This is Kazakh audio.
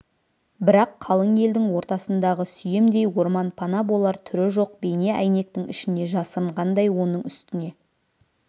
бірақ қалың елдің ортасындағы сүйемдей орман пана болар түрі жоқ бейне әйнектің ішіне жасырынғандай оның үстіне